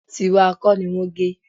Tíwa kọ́ ni wọ́n gé